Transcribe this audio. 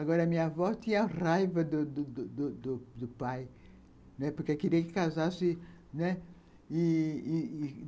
Agora, a minha avó tinha raiva do do do do pai, porque queria que casasse, né, e e